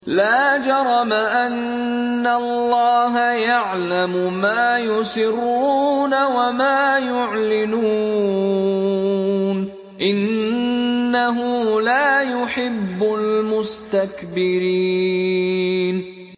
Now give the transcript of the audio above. لَا جَرَمَ أَنَّ اللَّهَ يَعْلَمُ مَا يُسِرُّونَ وَمَا يُعْلِنُونَ ۚ إِنَّهُ لَا يُحِبُّ الْمُسْتَكْبِرِينَ